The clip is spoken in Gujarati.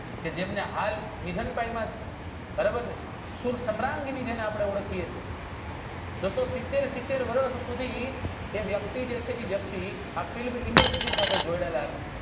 કે જેમને હાલ નિધન બરોબરને સુ સામ્રાન્જી ને આપણે ઓળખીયે છીએ એ તો સીતેર વર્ષ સુધી એ વ્યક્તિ જોડાયેલા હતા